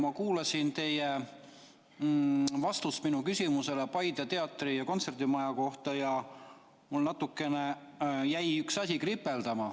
Ma kuulasin teie vastust minu küsimusele Paide teatri‑ ja kontserdimaja kohta ja mul jäi üks asi kripeldama.